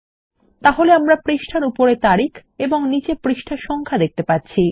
তাহলে আমরা পৃষ্ঠার উপরে তারিখ এবং নীচে পৃষ্ঠা সংখ্যা দেখতে পাচ্ছি